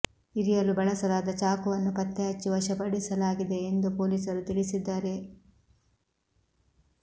ಇರಿಯಲು ಬಳಸಲಾದ ಚಾಕುವನ್ನು ಪತ್ತೆ ಹಚ್ಚಿ ವಶಪಡಿಸಲಾಗಿದೆ ಎಂದು ಪೊಲೀಸರು ತಿಳಿಸಿದ್ದಾರೆ